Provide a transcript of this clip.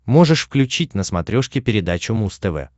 можешь включить на смотрешке передачу муз тв